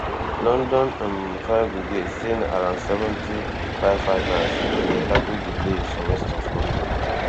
london um fire brigade say na around seventy firefighters bin dey tackle di blaze for west of london